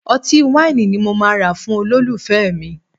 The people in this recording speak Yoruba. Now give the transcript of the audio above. Ọtí wáìnì ni mo máa rà fún olólùfẹ́ mi